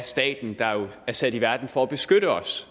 staten der jo er sat i verden for at beskytte os